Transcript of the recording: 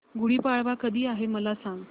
गुढी पाडवा कधी आहे मला सांग